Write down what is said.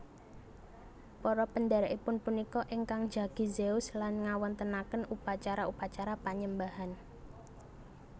Para pendhèrèkipun punika ingkang njagi Zeus lan ngawontenaken upacara upacara panyembahan